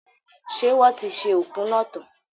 Ṣé wọ́n ti ṣe oku náà tán?